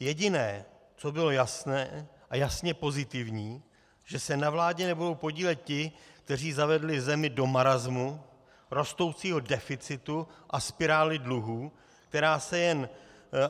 Jediné, co bylo jasné a jasně pozitivní, že se na vládě nebudou podílet ti, kteří zavedli zemi do marasmu, rostoucího deficitu a spirály dluhů, která se jen